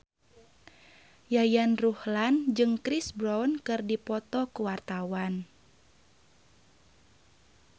Yayan Ruhlan jeung Chris Brown keur dipoto ku wartawan